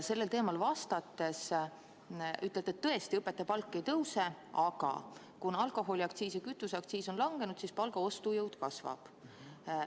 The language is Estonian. Sellel teemal vastates ütlete, et tõesti, õpetaja palk ei tõuse, aga kuna alkoholiaktsiis ja kütuseaktsiis on langenud, siis palga ostujõud kasvab.